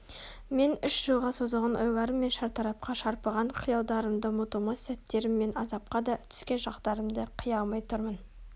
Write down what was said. мен үш жылға созылған ойларым мен шартарапқа шарпыған қиялдарымды ұмытылмас сәттерім мен азапқа да түскен шақтарымды қия алмай тұрмын